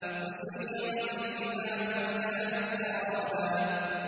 وَسُيِّرَتِ الْجِبَالُ فَكَانَتْ سَرَابًا